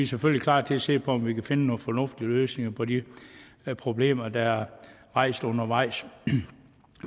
selvfølgelig klar til at se på om vi kan finde nogle fornuftige løsninger på de problemer der er rejst undervejs